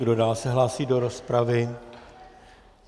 Kdo se dál hlásí do rozpravy?